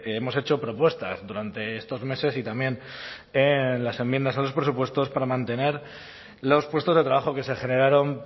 hemos hecho propuestas durante estos meses y también las enmiendas a los presupuestos para mantener los puestos de trabajo que se generaron